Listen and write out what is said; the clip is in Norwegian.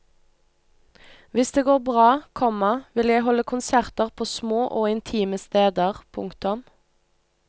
Hvis det går bra, komma vil jeg holde konserter på små og intime steder. punktum